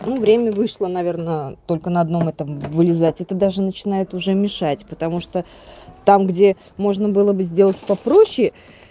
ну время вышло наверное только на одном этом вылезать это даже начинает уже мешать потому что там где можно было бы сделать попроще